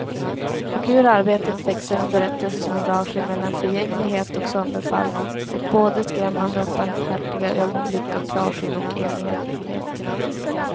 Och ur arbetet växer en berättelse som rör sig mellan förgänglighet och sönderfall och både skrämmande och barmhärtiga ögonblick av klarsyn och enhetlighet.